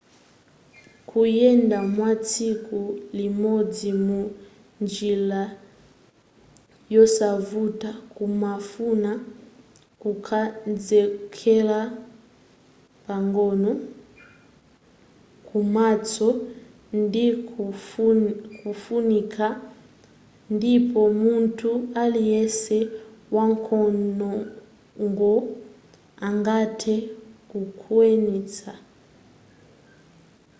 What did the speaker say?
kuyenda kwatsiku limodzi mu njila yosavuta kumafuna kukonzekela pang'ono komanso ndikofunika ndipo munthu aliyese wankhongono angathe kukwanitsa